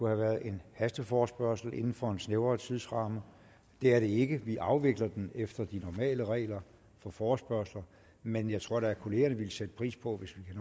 have været en hasteforespørgsel inden for en snævrere tidsramme det er den ikke vi afvikler den efter de normale regler for forespørgsler men jeg tror da at kollegaerne vil sætte pris på hvis